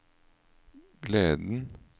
gleden